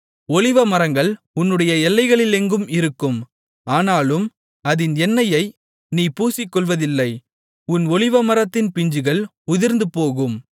ஒலிவமரங்கள் உன்னுடைய எல்லைகளிலெங்கும் இருக்கும் ஆனாலும் அதின் எண்ணெயை நீ பூசிக்கொள்வதில்லை உன் ஒலிவமரத்தின் பிஞ்சுகள் உதிர்ந்துபோகும்